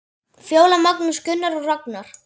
Fjóla, Magnús, Gunnar og Ragnar.